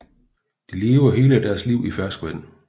De lever hele deres liv i ferskvand